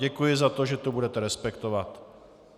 Děkuji za to, že to budete respektovat.